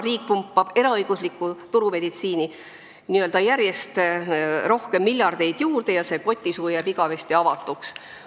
Riik pumpab eraõiguslikku turumeditsiini järjest rohkem miljardeid juurde ja see kotisuu jääb igavesti avatuks.